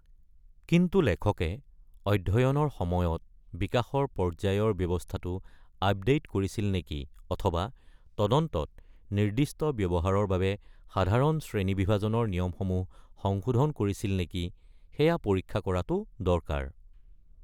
কিন্তু লেখকে অধ্যয়নৰ সময়ত বিকাশৰ পৰ্য্যায়ৰ ব্যৱস্থাটো আপডেইট কৰিছিল নেকি অথবা তদন্তত নিৰ্দিষ্ট ব্যৱহাৰৰ বাবে সাধাৰণ শ্ৰেণীবিভাজনৰ নিয়মসমূহ সংশোধন কৰিছিল নেকি সেয়া পৰীক্ষা কৰাটো দৰকাৰ৷